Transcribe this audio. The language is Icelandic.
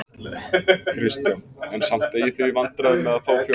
Kristján: En samt eigið þið í vandræðum með að fá fólk?